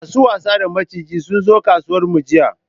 Masu wasa da maciji sunzo kasuwar mu jiya